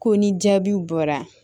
Ko ni jaabiw bɔra